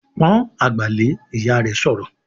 "Pọ́n àgbà lé!", Ìyá rẹ̀ sọ̀rọ̀